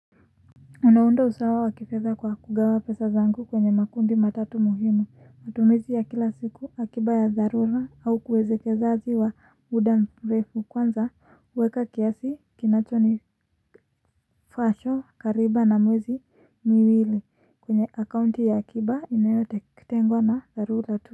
Unaunda usawa wakifedha kwa kugawa pesa zangu kwenye makundi matatu muhimu matumizi ya kila siku akiba ya dharura au uekezaji wa muda mrefu kwanza uweka kiasi kinacho ni fashon kariba na muwezi miwili kwenye akaunti ya akiba inayotetengwa na zarura.